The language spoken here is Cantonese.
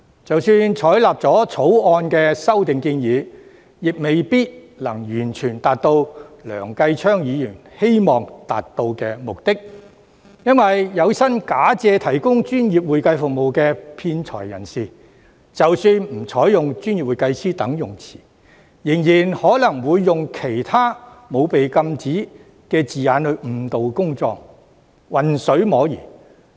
即使採納《條例草案》的修訂建議，亦未必能夠完全達到梁繼昌議員希望達到的目的，原因是有心假借提供專業會計服務的騙財人士，即使不採用"專業會計師"等稱謂，仍然可能會用其他沒有被禁止的字眼來誤導公眾，混水摸魚。